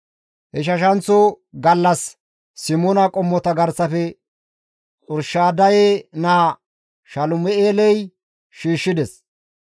Ichchashanththo gallas Simoona qommota garsafe Xurshadaye naa Salum7eeley shiishshides.